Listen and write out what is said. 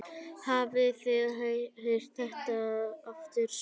Hafið þið heyrt þetta aftur?